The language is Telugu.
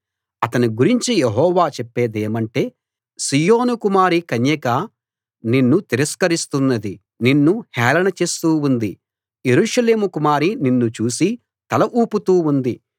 అతని గురించి యెహోవా చెప్పేదేమంటే సీయోను కుమారి కన్యక నిన్ను తిరస్కరిస్తున్నది నిన్ను హేళన చేస్తూ ఉంది యెరూషలేము కుమారి నిన్ను చూసి తల ఊపుతూ ఉంది